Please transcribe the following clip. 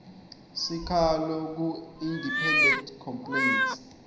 sikhalo kuindependent complaints